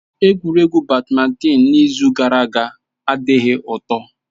Egwuregwu badmịntịn n'izu ụka gara aga adịghị ụtọ.